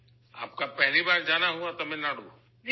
آپ کا پہلی بار جانا ہوا تھا تمل ناڈو ؟